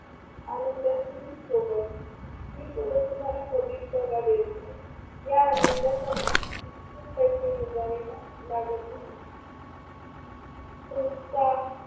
आनंदाची सोबत, ही सोबत तुम्हाला कधीच दगा देत नाही. या आनंदासाठी भक्कम पैसे मोजावे लागत नाहीत. तुमचा